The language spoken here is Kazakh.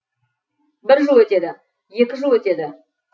бір жыл өтеді екі жыл өтеді